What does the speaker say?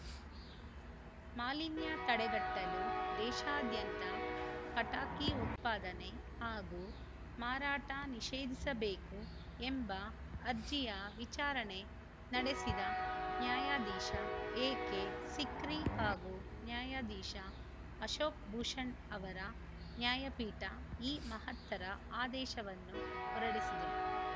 ಮಾಲಿನ್ಯ ತಡೆಗಟ್ಟಲು ದೇಶಾದ್ಯಂತ ಪಟಾಕಿ ಉತ್ಪಾದನೆ ಹಾಗೂ ಮಾರಾಟ ನಿಷೇಧಿಸಬೇಕು ಎಂಬ ಅರ್ಜಿಯ ವಿಚಾರಣೆ ನಡೆಸಿದ ನ್ಯಾ ಎಕೆ ಸಿಕ್ರಿ ಹಾಗೂ ನ್ಯಾ ಅಶೋಕ್‌ ಭೂಷಣ್‌ ಅವರ ನ್ಯಾಯಪೀಠ ಈ ಮಹತ್ತರ ಆದೇಶವನ್ನು ಹೊರಡಿಸಿದೆ